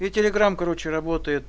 телеграм короче работ